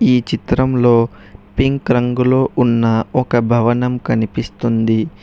ఈ చిత్రంలో పింక్ రంగులో ఉన్న ఒక భవనం కనిపిస్తుంది.